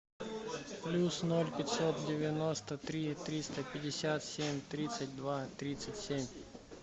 плюс ноль пятьсот девяносто три триста пятьдесят семь тридцать два тридцать семь